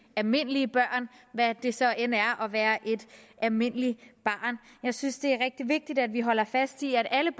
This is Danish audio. almindelige børn hvad det så end er at være et almindeligt barn jeg synes det er rigtig vigtigt at vi holder fast i at alle